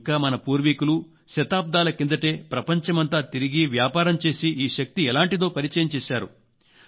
ఇంకా మన పూర్వీకులు శతాబ్దాల క్రిందటే ప్రపంచమంతా తిరిగి వ్యాపారం చేసి ఈ శక్తి ఎలాంటిదో పరిచయం చేశారు